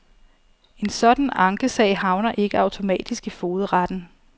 En sådan ankesag havner ikke automatisk i fogedretten.